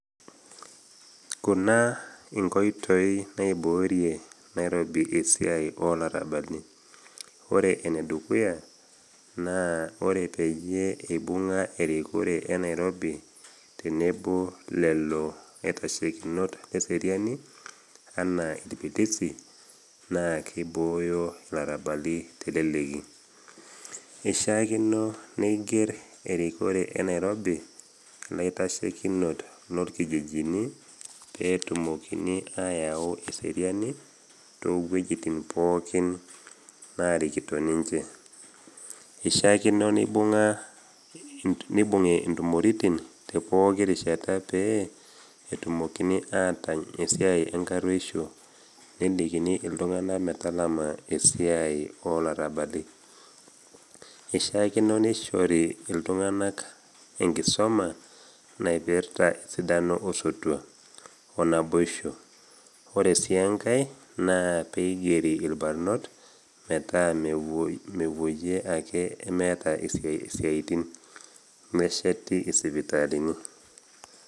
Kuna inkoitoi naiboorie Nairobi esiai o larabali, ore enedukuya, naa ore peyie eibung’a erikore e Nairobi tenebo lelo aitashekinot le seriani anaa ilpilisi, naa keibooyo ilarabali teleleki. Eishaakino neigir erikore e Nairobi ilaitashekinot lolkijijini peetumoki ayau eseriani too wejitin pookin naarikito ninche. Eishaakino neibung’I intumoritin te pooki rishata pee etumokini atany esiai enkaruisho nelikini iltung’ana metalama esiai o larabali. Esishaakino neishori iltung’ana enkisoma naipirta esidano osotua o naboisho, ore sii engai naa peigeri ilbarnot metaa mewuoyie ake emeeta isiatin, nesheti isipitalini.